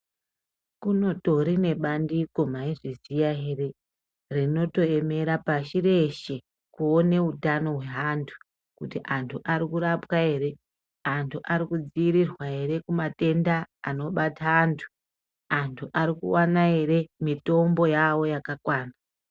Kunotori nebandiko, maizviziya here rinotoemera pashi reshe kuone utano hweantu kuti antu arikurapwa ere , antu arikudziirirwa kumatenda anobata antu, antu arikuwana ere mitombo yawo yakakwana.